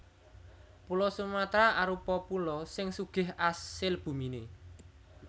Pulo Sumatra arupa pulo sing sugih asil buminé